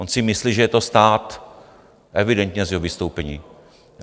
On si myslí, že je to stát, evidentně z jeho vystoupení.